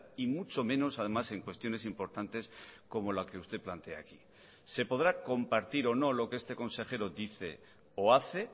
y mucho menos además en cuestiones importantes como la que usted plantea aquí se podrá compartir o no lo que este consejero dice o hace